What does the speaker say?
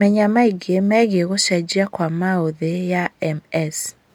Menya maingĩ megiĩ gũcenjia kwa maũthĩ ya MS